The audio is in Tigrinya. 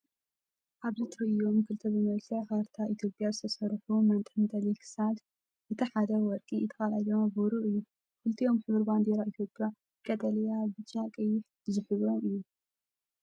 ኣብዚ ተራእዮም ክልተ ብመልክዕ ካርታ ኢትዮጵያ ዝተሰርሑ መንጠልጠሊ ክሳድ። እቲ ሓደ ወርቂ እቲ ካልኣይ ድማ ብሩር እዩ። ክልቲኦም ሕብሪ ባንዴራ ኢትዮጵያ (ቀጠልያ፣ ብጫ፣ ቀይሕ) ዝሕብሩ እዮም።